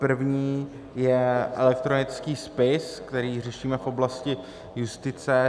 První je elektronický spis, který řešíme v oblasti justice.